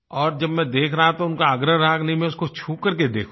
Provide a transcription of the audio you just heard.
और जब मैं देख रहा था तो उनका आग्रह रहा कि नहीं मैं उसको छू कर के देखूँ